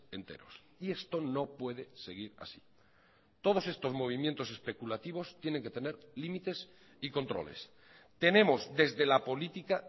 enterosy esto no puede seguir así todos estos movimientos especulativos tienen que tener límites y controles tenemos desde la política